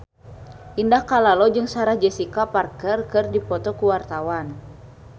Indah Kalalo jeung Sarah Jessica Parker keur dipoto ku wartawan